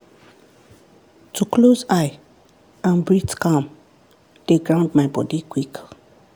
to close eye and breathe calm dey ground my body quick.